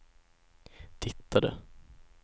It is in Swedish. tittade